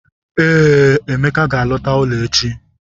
Ee, Emeka ga-alọta ụlọ echi.